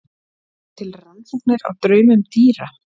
eru til rannsóknir á draumum dýra